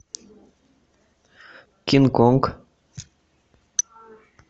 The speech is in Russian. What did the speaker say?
кинг конг